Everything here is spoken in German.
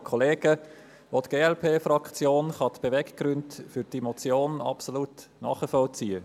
Auch die Glp-Fraktion kann die Beweggründe für die Motion absolut nachvollziehen.